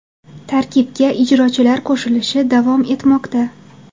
Tarkibga ijrochilar qo‘shilishi davom etmoqda.